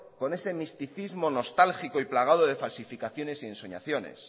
con ese misticismo nostálgico y plagado de falsificaciones y ensoñaciones